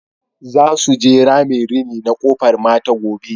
Za su je ramin rini na Kofar Mata gobe.